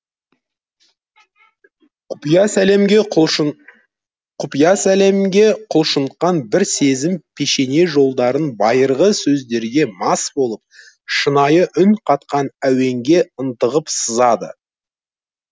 құпия сәлемге құлшынтқан бір сезім пешене жолдарын байырғы сөздерге мас болып шынайы үн қатқан әуенге ынтығып сызады